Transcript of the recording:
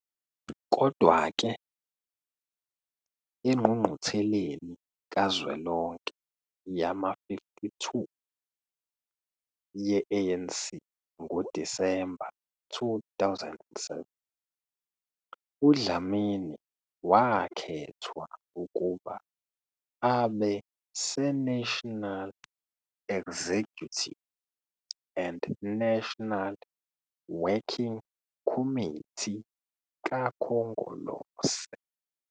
Kodwa-ke, engqungqutheleni kazwelonke yama-52 ye-ANC ngoDisemba 2007, uDlamini wakhethwa ukuba abe seNational Executive and National Working Committe kaKhongolose.